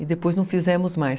E depois não fizemos mais.